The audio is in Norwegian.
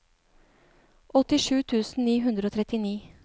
åttisju tusen ni hundre og trettini